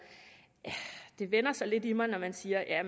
at det vender sig lidt i mig når man siger at